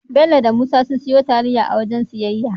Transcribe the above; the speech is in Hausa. Bello da Musa sun siyo taliya a waken siyayya